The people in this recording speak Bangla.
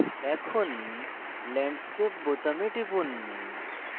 এখন landscape বোতামে টিপুন